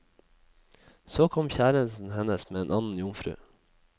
Så kom kjæresten hennes med en annen jomfru.